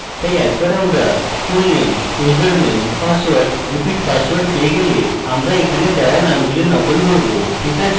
তাই একবার আমরা fullname username password repeat pasword পেয়ে গেলে আমরা এখানে দেওয়া নামগুলির নকল করব ঠিক আছে